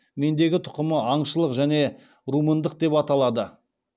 мендегі тұқымы аңшылық және румындық деп аталады